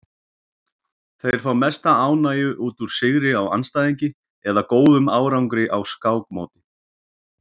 Þeir fá mesta ánægju út úr sigri á andstæðingi eða góðum árangri á skákmóti.